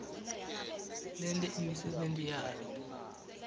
lente imisebenti yalo